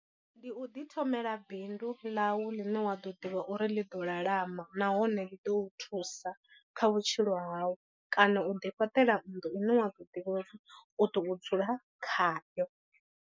Ndi u ḓi thomela bindu ḽau ḽine wa ḓo ḓivha uri ḽiḓo lalama nahone ḽi ḓo u thusa kha vhutshilo hau, kana u ḓi fhaṱela nnḓu ine wa ḓo ḓivha uri u ḓo dzula khayo.